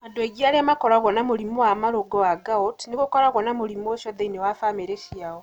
Andũ aingĩ arĩa makoragwo na mũrimũ wa marũngo wa gout, nĩ gũkoragwo na mũrimũ ũcio thĩinĩ wa bamirĩ ciao.